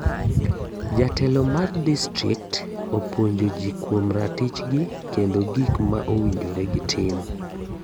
Jotelo mag distrikt opuonjo gi kuom ratich gi kendo gik ma owinjore gi tim.